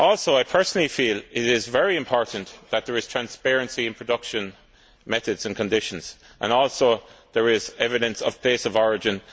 I personally feel it is very important that there is transparency in production methods and conditions and that there is accurate evidence of place of origin.